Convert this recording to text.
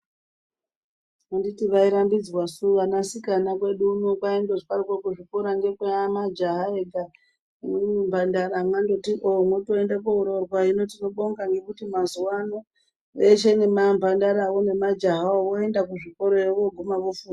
Anditi vairambidzwasu vanasikana kwedu uno kwaingozwaroko kuzi kuzvikora ngekwemajaha ega imwimwi mhandara mandoti ooh motoenda kooroorwa hino tinobonga ngekuti mazuwano veshe nemamhandarawo nemajaha voenda kusvikora vooguma vofunda.